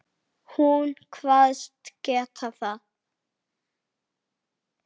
Hún kvaðst geta það.